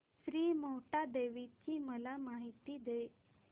श्री मोहटादेवी ची मला माहिती दे